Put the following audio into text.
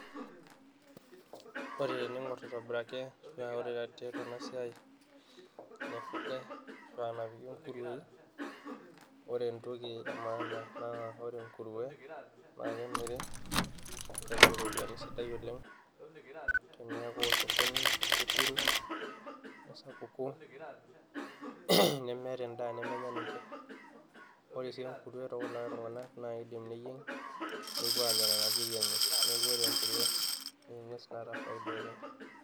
ore tening'orr aitobiraki ashua ore tiatua ena siai naifugay ashua napiki inkurueyi ore entoki e maana na ore enkurue naa kemiri, kemiri iropiyiani sidai oleng teniaku osokoni amu kepiru nesapuku nemeeta endaa nemenya ninche ore sii enkurue tookulikay tuing'anak naa kidim neyieng nepuo aanya nena kiri enye neeku ore enkurue naa eng'ues naata faida oleng.